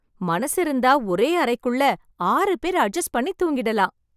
மனசு இருந்தா, ஒரே அறைக்குள்ள ஆறு பேர் அட்ஜஸ்ட் பண்ணி தூங்கிடலாம்.